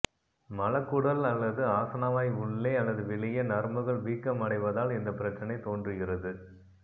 மலக்குடல் அல்லது ஆசனவாய் உள்ளே அல்லது வெளியே நரம்புகள் வீக்கம் அடைவதால் இந்த பிரச்சனை தோன்றுகிறது